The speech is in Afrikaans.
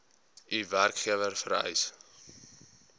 u werkgewer vereis